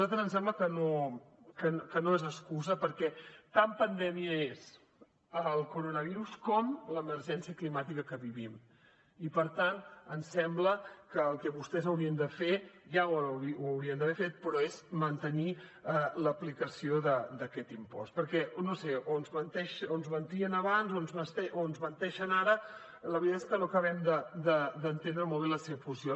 a nosaltres ens sembla que no és excusa perquè tan pandèmia és el coronavirus com l’emergència climàtica que vivim i per tant ens sembla que el que vostès haurien de fer ja ho haurien d’haver fet però és mantenir l’aplicació d’aquest impost perquè no ho sé o ens mentien abans o ens menteixen ara la veritat és que no acabem d’entendre molt bé la seva posició